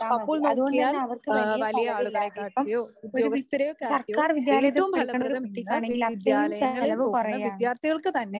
അപ്പോൾ നോക്കിയാൽ ആഹ് വലിയ ആളുകളെ ഉദ്യോഗസ്ഥരെ ഏറ്റവും ഫലപ്രദം ഇന്ന് വിദ്യാലയങ്ങളിൽ പോകുന്ന വിദ്യാർഥികൾക്ക് തന്നെ.